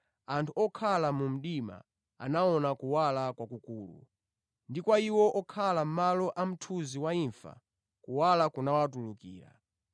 anthu okhala mu mdima awona kuwala kwakukulu; ndi kwa iwo okhala mʼdziko la mthunzi wa imfa kuwunika kwawafikira.”